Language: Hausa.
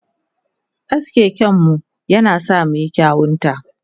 Aske kanmu yana sa muyi kyauta.